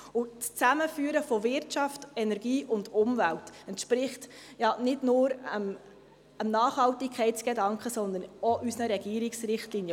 Das Zusammenführen von Wirtschaft, Energie und Umwelt entspricht ja nicht nur dem Nachhaltigkeitsgedanken, sondern auch unseren Regierungsrichtlinien.